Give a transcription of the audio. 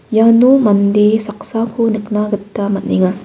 iano mande saksako nikna gita man·enga.